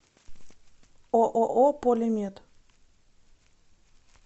ооо полимед